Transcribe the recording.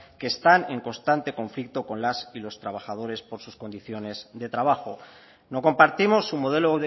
que están en constante conflicto con las y los trabajadores por sus condiciones de trabajo no compartimos su modelo